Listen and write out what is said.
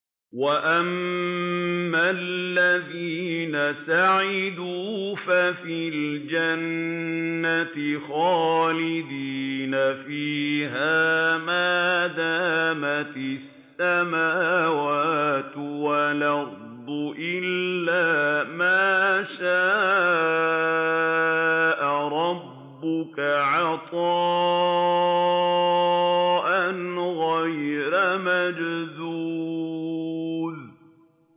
۞ وَأَمَّا الَّذِينَ سُعِدُوا فَفِي الْجَنَّةِ خَالِدِينَ فِيهَا مَا دَامَتِ السَّمَاوَاتُ وَالْأَرْضُ إِلَّا مَا شَاءَ رَبُّكَ ۖ عَطَاءً غَيْرَ مَجْذُوذٍ